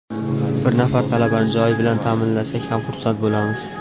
Bir nafar talabani joy bilan ta’minlasak ham xursand bo‘lamiz.